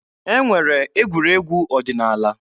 E nwere egwuregwu ọdịnaala.